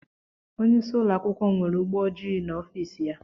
Onyeisi ụlọakwụkwọ m nwere ụgbọ ojii n'ofici ya.